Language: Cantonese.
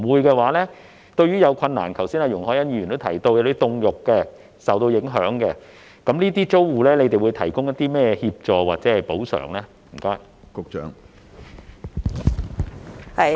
若否，對於有困難的租戶，例如剛才容海恩議員提到售賣凍肉或受影響的租戶，當局會提供甚麼協助或補償呢？